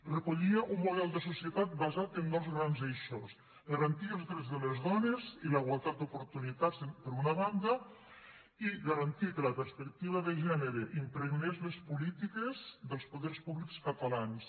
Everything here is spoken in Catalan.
recollia un model de societat basat en dos grans eixos garantir els drets de les dones i la igualtat d’oportunitats per una banda i garantir que la perspectiva de gènere impregnés les polítiques dels poders públics catalans